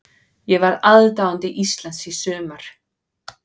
Ég var aðdáandi Íslands í sumar.